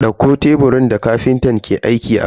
Dauko teburin da kafintan ke aiki akai.